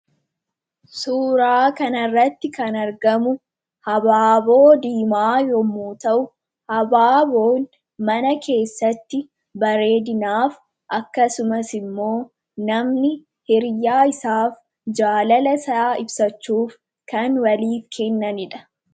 Suuraa kanarratti kan argamu habaaboo diimaa yommu ta'u habaaboo mana keessatti bareedinaaf akkasumas immoo namni hiriyaa isaaf jaalala isaa ibsachuuf kan waliif kennaniidha.